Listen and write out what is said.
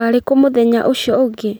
Warĩ kũ mũthenya ũcio ũngĩ?